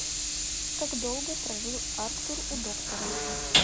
как долго прожил арктур у доктора